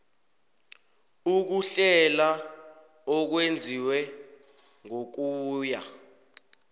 ukuhlela okwenziwe ngokuya